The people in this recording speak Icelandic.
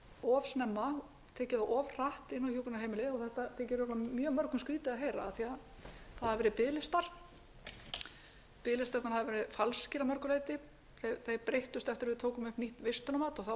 of snemma tekið þá of hratt inn á hjúkrunarheimilið og þetta þykir mjög mörgum skrýtið að ára af því að það hafa verið biðlistar biðlistarnir hafa verið falskir að mörgu leyti þeir breyttust eftir að við tókum upp nýtt vistunarmat og þá